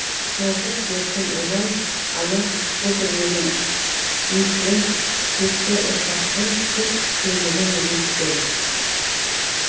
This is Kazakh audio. соңғы серпін ұмай ана көкірегін иіткен текті ұрпақпын тек сөйлеген биіктен